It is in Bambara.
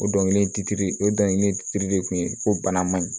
O dɔnkili o dɔnkili de kun ye ko bana man ɲi